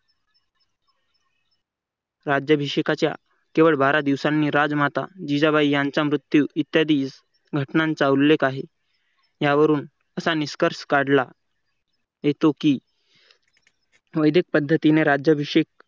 राज्याभिषेकाच्या केवळ बारा दिवसांनी राजमाता जिजाबाई यांचा मृत्यू इत्यादी घटनांचा उल्लेख आहे. यावरून असा निष्कर्ष काढला की तो की वैदिक पद्धतीने राज्याभिषेक